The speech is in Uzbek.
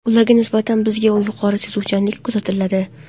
Ularga nisbatan bizda yuqori sezuvchanlik kuzatiladi.